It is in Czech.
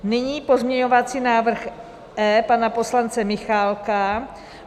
Nyní pozměňovací návrh E pana poslance Michálka.